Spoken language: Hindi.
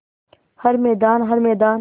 हर मैदान हर मैदान